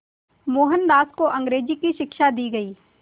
मोहनदास को अंग्रेज़ी की शिक्षा दी गई